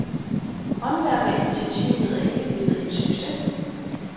Håndværkerinitiativet er ikke blevet en succes.